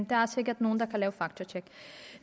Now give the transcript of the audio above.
der er sikkert nogle der kan lave faktatjek